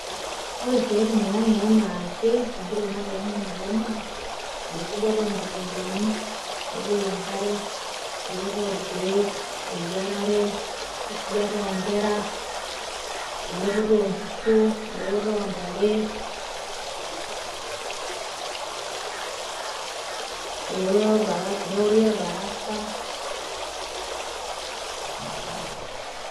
Ore isiaitin e ang' enaa ake te nkitok natii ang' ena ake naa enkisujata onkikombeni, nepuio enkare, elototo orkeek, eyiarare, enkisujata o nkera, elepoto o nkishu, elepoto o ntare, eworoto niori orbarasa.